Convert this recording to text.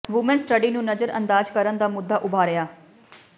woman study ਨੂੰ ਨਜ਼ਰ ਅੰਦਾਜ ਕਰਨ ਦਾ ਮੁੱਦਾ ਉਭਾਰਿਆ